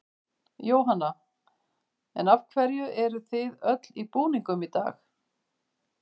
Jóhanna: En af hverju eruð þið öll í búningum í dag?